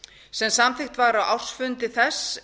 sem samþykkt var á ársfundi þess